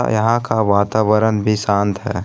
यहां का वातावरण भी शांत है।